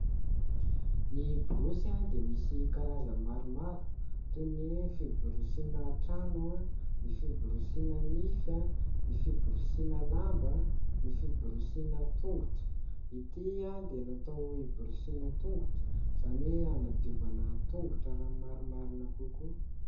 Ny borosy dia misy karazany maromaro toy ny fiborosiana trano, ny fiborosiana nify, ny fiborosiana lamba, ny fiborosiana tongotra . Ity dia natao hiborosiana tongotra izany hoe hanadiovana tongotra raha ny marimarina kokoa.